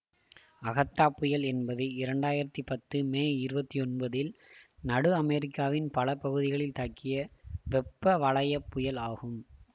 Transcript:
Agatha புயல் என்பது இரண்டு ஆயிரத்தி பத்து மே இருபத்தி ஒன்பதில் நடு அமெரிக்காவின் பல பகுதிகளில் தாக்கிய வெப்பவலய புயல் ஆகும்